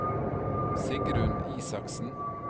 Sigrun Isaksen